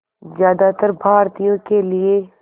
ज़्यादातर भारतीयों के लिए